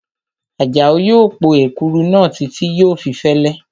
Àjàó yóò po èkuru náà títí yóò fi fẹ́lẹ́